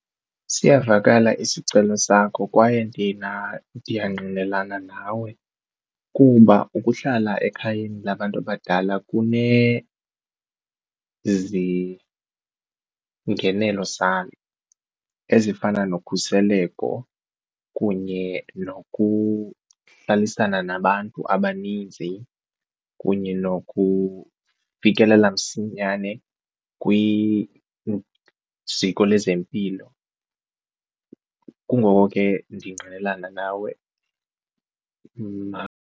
Siyavakala isicelo sakho kwaye ndiyangqinelana nawe kuba ukuhlala ekhayeni labantu abadala kunezingenelo zalo ezifana nokhuseleko kunye nokuhlalisana nabantu abaninzi, kunye nokufikelela msinyane kwiziko lezempilo. Kungoko ke ndingqinelana nawe .